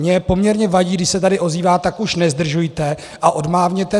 Mně poměrně vadí, když se tady ozývá: tak už nezdržujte a odmávněte!